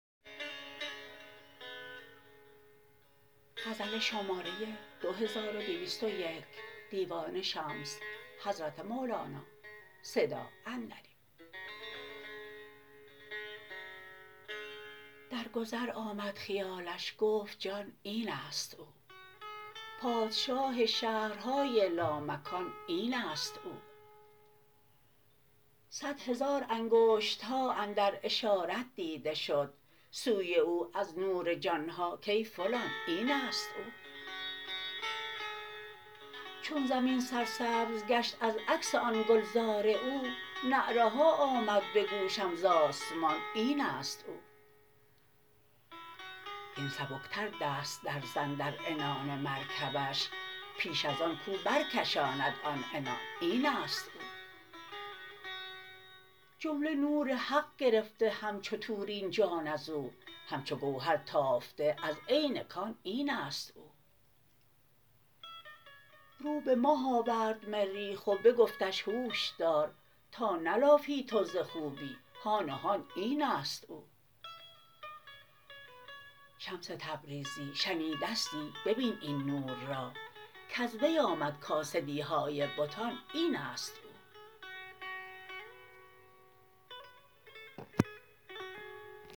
در گذر آمد خیالش گفت جان این است او پادشاه شهرهای لامکان این است او صد هزار انگشت ها اندر اشارت دیده شد سوی او از نور جان ها کای فلان این است او چون زمین سرسبز گشت از عکس آن گلزار او نعره ها آمد به گوشم ز آسمان این است او هین سبکتر دست درزن در عنان مرکبش پیش از آن کو برکشاند آن عنان این است او جمله نور حق گرفته همچو طور این جان از او همچو گوهر تافته از عین کان این است او رو به ماه آورد مریخ و بگفتش هوش دار تا نلافی تو ز خوبی هان و هان این است او شمس تبریزی شنیدستی ببین این نور را کز وی آمد کاسدی های بتان این است او